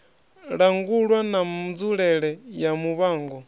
langulwa na nzulele ya muvhango